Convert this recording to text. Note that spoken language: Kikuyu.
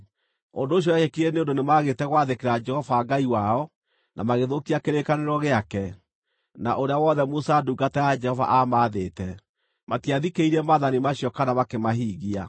Ũndũ ũcio wekĩkire nĩ ũndũ nĩmagĩte gwathĩkĩra Jehova Ngai wao, no magĩthũkia kĩrĩkanĩro gĩake, na ũrĩa wothe Musa ndungata ya Jehova aamaathĩte. Matiathikĩrĩirie maathani macio kana makĩmahingia.